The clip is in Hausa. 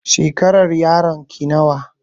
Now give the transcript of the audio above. Shekarun yayarki nawa